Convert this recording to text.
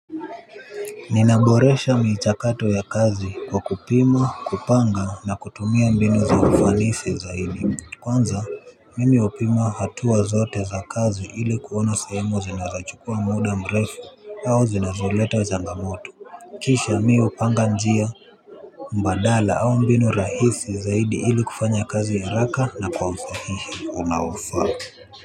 Ninaboresha michakato ya kazi kwa kupima kupanga na kutumia mbinu za ufanisi zaidi. Kwanza mimi hupima hatuwa zote za kazi ili kuona sehemu zinazochukua muda mrefu au zinazoleta zangamoto. Kisha mi upanga njia mbadala au mbinu rahisi zaidi ili kufanya kazi haraka na kwa usahihi unaofaa.